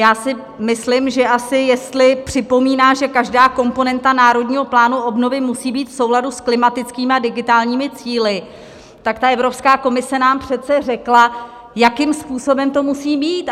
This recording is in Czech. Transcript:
Já si myslím, že asi jestli připomíná, že každá komponenta Národního plánu obnovy musí být v souladu s klimatickými a digitálními cíli, tak ta Evropská komise nám přece řekla, jakým způsobem to musí být.